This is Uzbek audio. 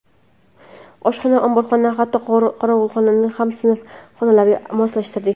Oshxona, omborxona, hatto qorovulxonani ham sinf xonalariga moslashtirdik.